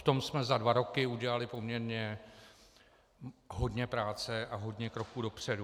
V tom jsme za dva roky udělali poměrně hodně práce a hodně kroků dopředu.